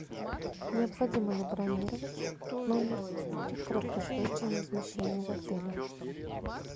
необходимо ли бронировать номер при краткосрочном размещении в отеле